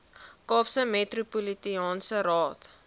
kaapse metropolitaanse raad